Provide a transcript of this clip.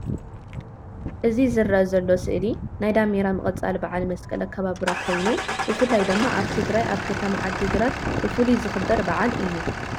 እቲ ዝረአ ዘሎ ስእሊ ናይ ዳሜራ ምቅፃል በዓል መስቀል ኣከባብራ ኮይኑ ብፍላይ ድማ ኣብ ትግራይ አብ ከተማ ዓድግራት ብፉሉይ ዝኽበር በዓል እዩ።